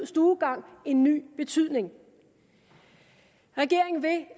stuegang en ny betydning regeringen vil